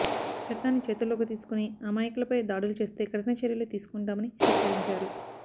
చట్టాన్ని చేతుల్లోకి తీసుకొని అమాయకులపై దాడులు చేస్తే కఠిన చర్యలు తీసుకుంటామని హెచ్చరించారు